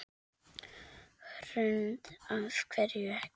Hrund: Af hverju ekki?